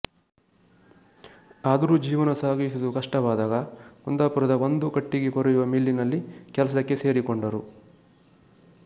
ಆದರೂ ಜೀವನ ಸಾಗಿಸುವುದು ಕಷ್ಟವಾದಾಗ ಕುಂದಾಪುರದ ಒಂದು ಕಟ್ಟಿಗೆ ಕೊರೆಯುವ ಮಿಲ್ಲಿನಲ್ಲಿ ಕೆಲಸಕ್ಕೆ ಸೇರಿಕೊಂಡರು